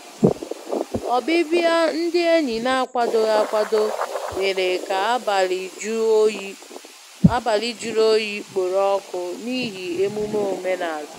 Ọbịbịa ndị enyi n'akwadoghị akwado mèrè ka abalị jụrụ oyi kporo ọkụ n'ihi emume omenala.